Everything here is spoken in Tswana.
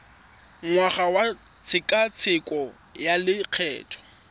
ngwaga wa tshekatsheko ya lokgetho